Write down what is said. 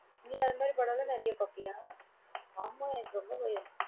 நீ அது மாதிரி படம் எல்லாம் நிறைய பார்ப்பியா? ஆமா எனக்கு ரொம்ப பயம்.